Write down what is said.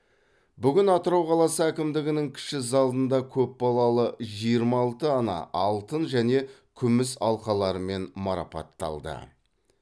бүгін атырау қаласы әкімдігінің кіші залында көп балалы жиырма алты ана алтын және күміс алқаларымен марапатталды